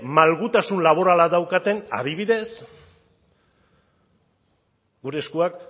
malgutasun laborala daukaten adibidez gure eskuak